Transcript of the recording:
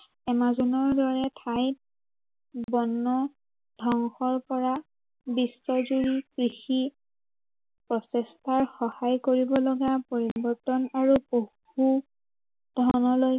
এমাজনৰ দৰে ঠাইত, বন ধ্বংসৰ পৰা, বিশ্বজুৰি কৃষি, প্ৰচেষ্টাত সহায় কৰিব লগা পৰিৱৰ্তন আৰু পশু ধনলৈ